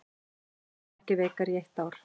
Krónan ekki veikari í eitt ár